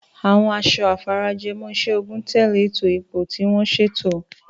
Àwọn aṣọ afarajiomoiseogun tẹ̀lé ètò ipò tí wọ́n ṣètò.